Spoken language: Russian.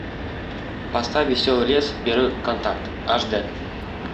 поставь веселый лес первый контакт аш д